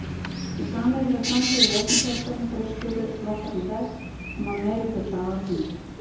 Með sameiginlegu framboði í öllum kjördæmum freistuðu flokkarnir þess að ná meirihluta á Alþingi.